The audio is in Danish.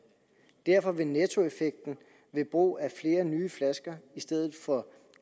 derfor vil nettoeffekten ved brug af flere nye flasker i stedet for